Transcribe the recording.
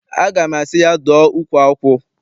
Aga m asị ya, dụọ ukwu akwụ!